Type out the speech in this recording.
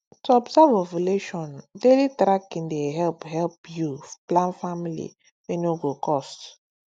to observe ovulation daily tracking dey help help you plan family wey no go cost